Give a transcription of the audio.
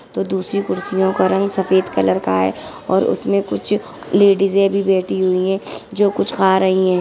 तो दूसरी कुर्सियो का रंग सफ़ेद कलर का है और उसमे कुछ लेडीसे भी बैठे हुई हैं जो कुछ खा रहीं हैं |